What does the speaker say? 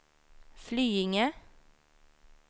Flyinge